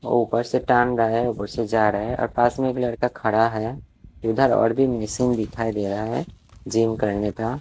ऊपर से टांग रहा है ऊपर से जा रहा है अ पास मे एक लड़का खड़ा है इधर और भी मशीन दिखाई दे रहा है जिम करने का।